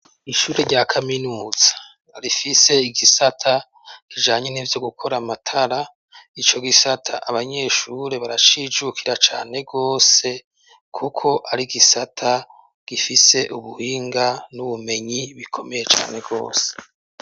Ishure rya kaminuza rifise igisata kijanye n'ivyo gukora amatara, ico gisata abanyeshure barashijukira cane wose kuko ari gisata gifise ubuhinga n'ubumenyi bikomeye cane rwose.